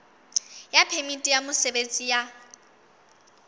ya phemiti ya mosebetsi ya